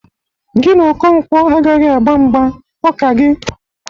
Gi na Okonkwo agaghị agba mgba. Ọ ka gị!